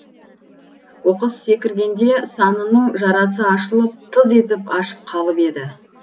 оқыс секіргенде санының жарасы ашылып тыз етіп ашып қалып еді